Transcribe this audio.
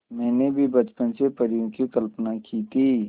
मैंने भी बचपन से परियों की कल्पना की थी